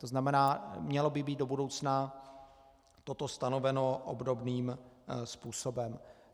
To znamená, mělo by být do budoucna toto stanoveno obdobným způsobem.